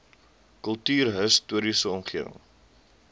kultuurhis toriese omgewing